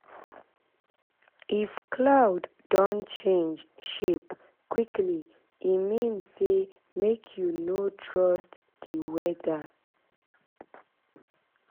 if cloud don change shape quickly e mean say make you no trust the weather